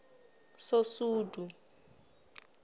sosudu